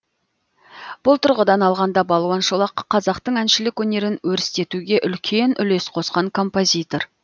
бұл тұрғыдан алғанда балуан шолақ қазақтың әншілік өнерін өрістетуге үлкен үлес қосқан композитор